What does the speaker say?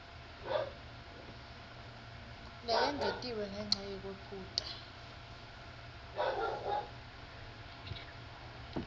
leyengetiwe ngenca yekwephuta